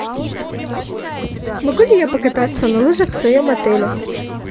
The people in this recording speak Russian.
могу ли я покататься на лыжах в своем отеле